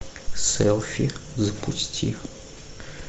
селфи запусти